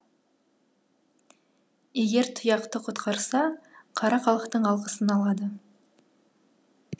егер тұяқты құтқарса қара халықтың алғысын алады